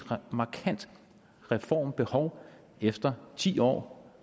markant reformbehov efter ti år